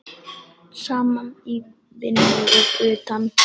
Saman í vinnu og utan.